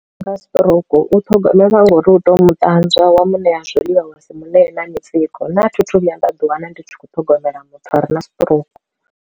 Nga stroke u thogomelwa nga uri u tea u mu ṱanzwa wa muṋe ya zwiḽiwa wa si mune na mitsiko nṋe a thi thu vhuya nda ḓi wana ndi tshi khou ṱhogomela muthu a re na stroke.